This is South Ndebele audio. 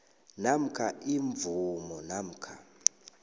namkha imvumo namkha